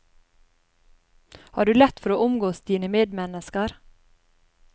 Har du lett for å omgås dine medmennesker?